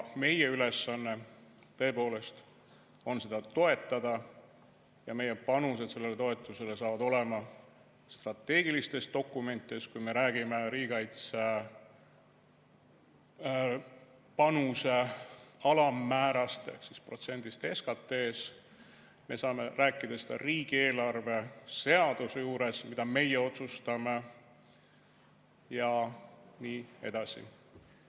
Meie ülesanne, tõepoolest, on seda toetada ja meie panused sellele toetusele saavad olema strateegilistes dokumentides, kui me räägime riigikaitsepanuse alammäärast ehk protsendist SKT‑st. Me saame rääkida seda riigieelarve seaduse juures, mida meie otsustame, ja nii edasi.